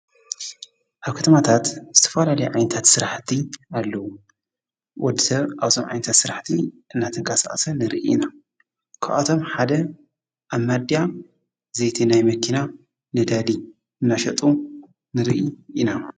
ኣብ ከትማታት ስተፈላል ዓይንታት ሠራሕቲ ኣለዉ ወድሰር ኣውሰም ዓንታት ሥራሕቲ እናተንቃሳእሰ ንርኢ ኢና ከዓቶም ሓደ ኣብ ማድያ ዘይተ ናይ መኪና ነዳዲ እናሸጡ ንርኢ ኢና።